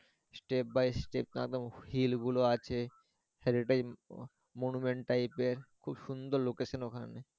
step by step জানো hill গুলো আছে monument type এর খুব সুন্দর location ওখানে।